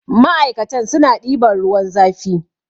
ma'aikata suna ɗiban ruwan zafi